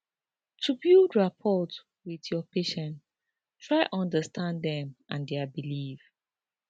to build rapport wit your patient try understand dem and dia belief